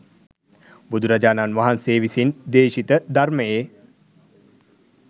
බුදුරජාණන් වහන්සේ විසින් දේශිත ධර්මයේ